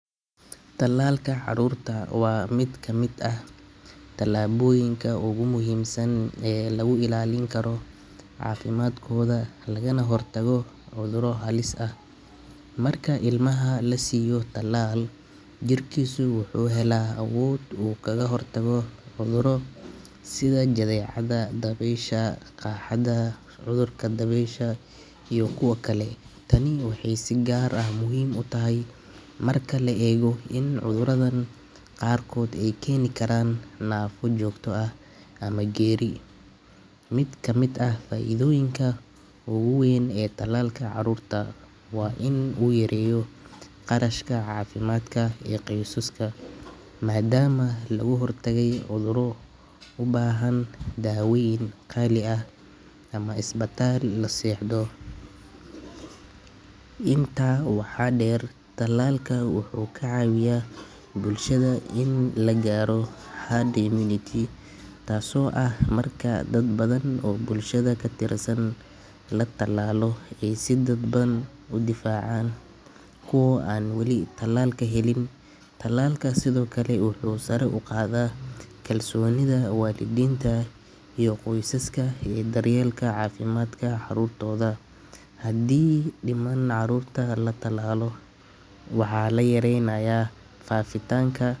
Talalka carruurta waa mid ka mid ah tallaabooyinka ugu muhiimsan ee lagu ilaalin karo caafimaadkooda lagana hortago cudurro halis ah. Marka ilmaha la siiyo talaal, jirkiisu wuxuu helaa awood uu kaga hortago cudurro sida jadeecada, dabaysha, qaaxada, cudurka dabeysha iyo kuwo kale. Tani waxay si gaar ah muhiim u tahay marka la eego in cudurradan qaarkood ay keeni karaan naafo joogto ah ama geeri. Mid ka mid ah faa’iidooyinka ugu weyn ee talaalka carruurta waa in uu yareeyo kharashka caafimaadka ee qoysaska, maadaama laga hortagay cudurro u baahan daawayn qaali ah ama isbitaal la seexdo. Intaa waxaa dheer, talaalka wuxuu ka caawiyaa bulshada in la gaaro herd immunity, taasoo ah marka dad badan oo bulshada ka tirsan la talaalo ay si dadban u difaacaan kuwa aan weli talaalka helin. Talalka sidoo kale wuxuu sare u qaadaa kalsoonida waalidiinta iyo qoysaska ee daryeelka caafimaadka carruurtooda. Haddii dhammaan carruurta la talaalo, waxaa la yaraynayaa faafitaanka.